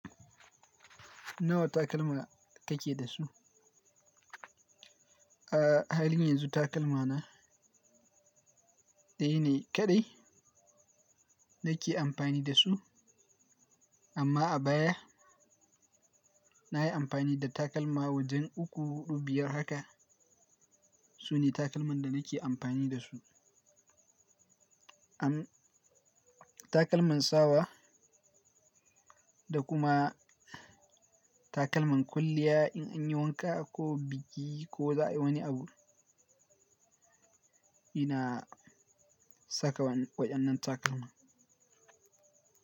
Nawa takalma kake da su? A halin yanzu takalma na daya ne kaɗai nake amfani da su, amma a baya nayi amfani da takalma wajen uku, hudu, biyar haka. Sune takalman da nake amfani da su. Takalman sawa da kuma takalman kwalliya in an yi wanka ko bugi ko za a yi wani abu, ina saka waɗannan takalma.